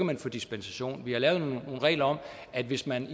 man få dispensation vi har lavet nogle regler om at hvis man